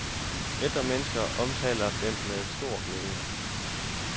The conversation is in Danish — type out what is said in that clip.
Ældre menneske omtaler den med stor glæde.